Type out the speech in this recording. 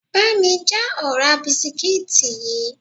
Bá mi já ọ̀rá bisikíìtì yìí!